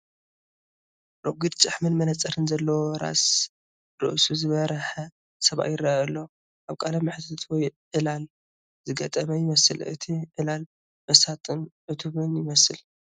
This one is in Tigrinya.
ረጒድ ጭሕምን መነጽርን ዘለዎ ራዛ ርእሱ ዝበርሐ ሰብኣይ ይረአ ኣሎ፣ ኣብ ቃለ መሕትት ወይ ዕላል ዝገጠመ ይመስል። እቲ ዕላል መሳጥን ዕቱብን ይመስል።